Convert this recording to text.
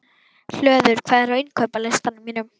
Hlöður, hvað er á innkaupalistanum mínum?